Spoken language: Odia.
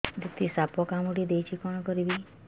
ଦିଦି ସାପ କାମୁଡି ଦେଇଛି କଣ କରିବି